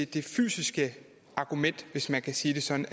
de fysiske argument hvis man kan sige det sådan